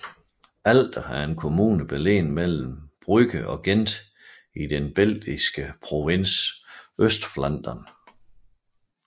Aalter er en kommune beliggende mellem Brugge og Gent i den belgiske provins Østflandern